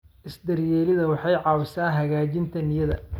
Is-daryeelidda waxay caawisaa hagaajinta niyadda.